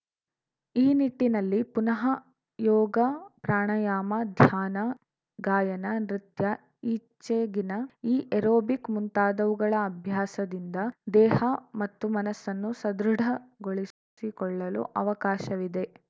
ಈ ನಿಟ್ಟಿನಲ್ಲಿ ಪುನಃ ಯೋಗ ಪ್ರಾಣಾಯಾಮ ಧ್ಯಾನ ಗಾಯನ ನೃತ್ಯ ಈಚೆಗಿನ ಈ ಏರೋಬಿಕ್‌ ಮುಂತಾದವುಗಳ ಅಭ್ಯಾಸದಿಂದ ದೇಹ ಮತ್ತು ಮನಸ್ಸನ್ನು ಸದೃಢಗೊಳಿಸಿಕೊಳ್ಳಲು ಅವಕಾಶವಿದೆ